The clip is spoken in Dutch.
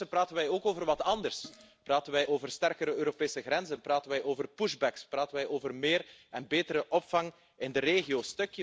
Intussen praten we ook over wat anders, praten wij over sterkere Europese grenzen, praten wij over push backs praten wij over meer en betere opvang in de regio.